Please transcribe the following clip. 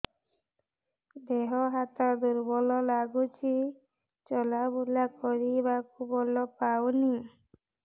ଦେହ ହାତ ଦୁର୍ବଳ ଲାଗୁଛି ଚଲାବୁଲା କରିବାକୁ ବଳ ପାଉନି